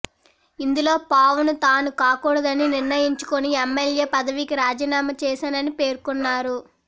ఇందులో పావును తాను కాకుడదని నిర్ణయించుకొని ఎమ్మెల్యే పదవీకి రాజీనామా చేశానని పేర్కొన్నారు